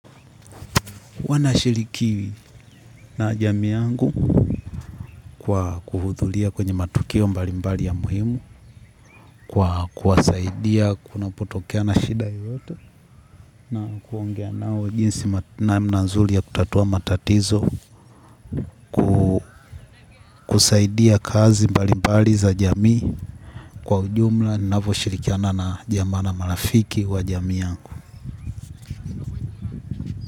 Wanashiriki na jamii yangu kwa kuhudhuria kwenye matukio mbali mbali ya muhimu, kwa kuwasaidia kunapotokea na shida yoyote na kuongea nao jinsi namna nzuri ya kutatua matatizo, kusaidia kazi mbali mbali za jamii kwa ujumla navyoshirikiana na jamaa na marafiki wa jamii yangu.